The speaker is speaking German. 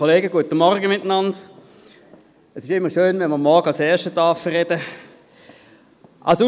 Es ist immer schön, wenn man am Morgen als Erster sprechen darf.